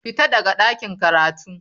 Fita daga ɗakin karatu.